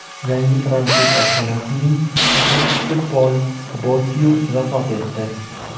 Yangi fransuz oshxonasining asoschisi Pol Bokyuz vafot etdi.